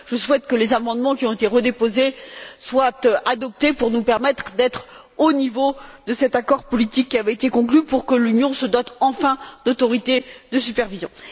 Je souhaite que les amendements qui ont été redéposés soient adoptés pour nous permettre d'être au niveau de cet accord politique, qui avait été conclu pour que l'Union se dote enfin d'autorités de supervision.